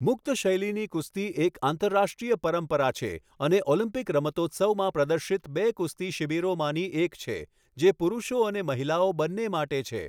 મુક્ત શૈલીની કુસ્તી એક આંતરરાષ્ટ્રીય પરંપરા છે અને ઓલિમ્પિક રમતોત્સવમાં પ્રદર્શિત બે કુસ્તી શિબિરોમાંથી એક છે, જે પુરુષો અને મહિલાઓ બંને માટે છે.